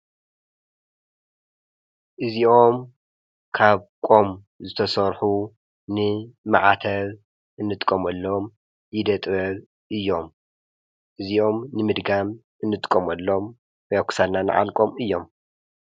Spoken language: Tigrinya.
እዚኦም ካብ ቆም ዝተሠርሑ ንመዓተብ እንጥቆመሎም ናይ ኢደጥበብ እዮም። እዚኦም ንምድጋም እንጥቆምሎም ብያኹሳልና ነዓልቆም እዮም።